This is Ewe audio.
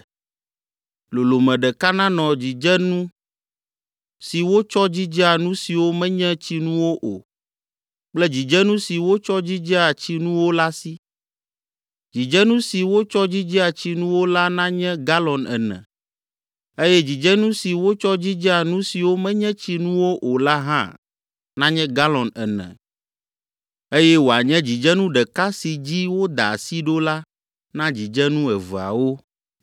Lolome ɖeka nanɔ dzidzenu si wotsɔ dzidzea nu siwo menye tsinuwo o kple dzidzenu si wotsɔ dzidzea tsinuwo la si. Dzidzenu si wotsɔ dzidzea tsinuwo la nanye galɔn ene eye dzidzenu si wotsɔ dzidzea nu siwo menye tsinuwo o la hã nanye galɔn ene eye wòanye dzidzenu ɖeka si dzi woda asi ɖo la na dzidzenu eveawo.